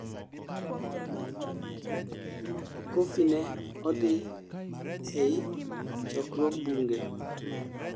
Coffeny ne odhi ei chokruog bunge